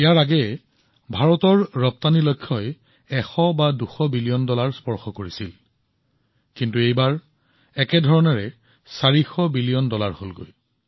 এটা সময়ত ভাৰতৰ পৰা ৰপ্তানিৰ পৰিমাণ আছিল ১০০ বিলিয়ন কেতিয়াবা ১৫০ বিলিয়ন কেতিয়াবা ২০০ বিলিয়ন এতিয়া ভাৰত ৪০০ বিলিয়ন ডলাৰত উপনীত হৈছে